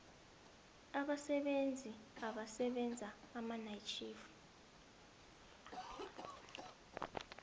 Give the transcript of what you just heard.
abasebenzi abasebenza amatjhifu